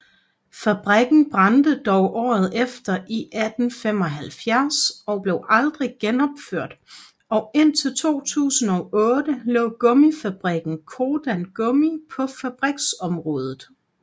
Fabrikken brændte dog året efter i 1875 og blev aldrig genopført og indtil 2008 lå gummifabrikken Codan Gummi på fabriksområdet